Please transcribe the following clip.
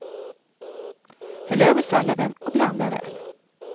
Häll över salladen och blanda väl.